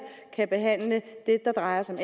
kan behandle det der drejer sig